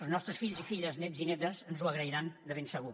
els nostres fills i filles nets i netes ens ho agrairan de ben segur